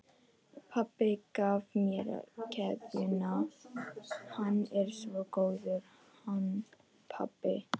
Pabbi gaf mér keðjuna, hann er svo góður, hann pabbi.